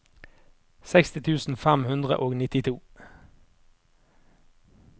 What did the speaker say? seksti tusen fem hundre og nittito